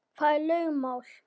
Það er lögmál.